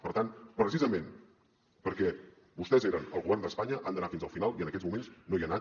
per tant precisament perquè vostès eren al govern d’espanya han d’anar fins al final i en aquests moments no hi han anat